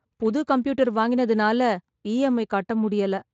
புது கம்ப்யூட்டர் வாங்கினதனால இஎம்ஐ கட்ட முடியல.